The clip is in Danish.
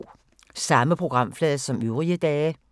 Samme programflade som øvrige dage